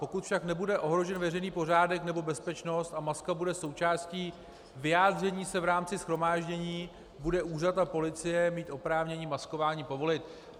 Pokud však nebude ohrožen veřejný pořádek nebo bezpečnost a maska bude součástí vyjádření se v rámci shromáždění, bude úřad a policie mít oprávnění maskování povolit.